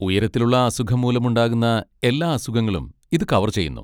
ഉയരത്തിലുള്ള അസുഖം മൂലമുണ്ടാകുന്ന എല്ലാ അസുഖങ്ങളും ഇത് കവർ ചെയ്യുന്നു.